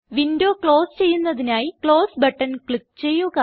window close ചെയ്യുന്നതിനായി close button click ചെയ്യുക